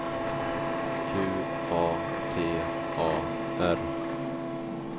Q A T A R